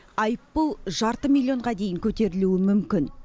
айыппұл жарты миллионға дейін көтерілуі мүмкін